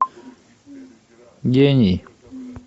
гений